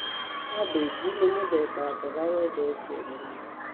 Kambĩnji nĩ mũthemba mboga wendetwo mũno.